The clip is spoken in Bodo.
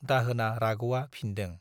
दाहोना राग'आ फिनदों।